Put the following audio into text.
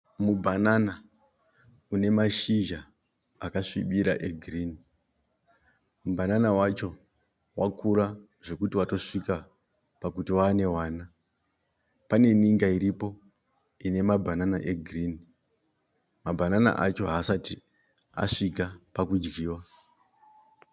Mubhanana une mashizha akasvibira e girinhi. Mubhanana wacho wakura zvekuti watosvika pakuti wanevana. Pane ninga iripo ine mabhanana egirinhi. Mabhanana acho haasati asvika pakudyiwa.